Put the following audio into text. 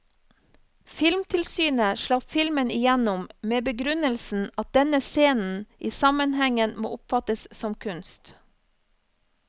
Filmtilsynet slapp filmen igjennom med begrunnelsen at denne scenen i sammenhengen må oppfattes som kunst.